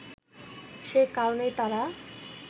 সে কারণেই তারা